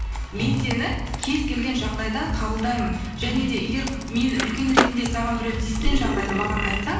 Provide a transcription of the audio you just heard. мен сені кез келген жағдайда қабылдаймын және де егер мен үлкен ретінде саған біреу тиіскен жағдайда маған айтсаң